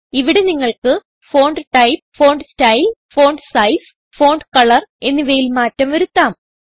ഇവിടെ നിങ്ങൾക്ക് font type font style font size font colour എന്നിവയിൽ മാറ്റം വരുത്താം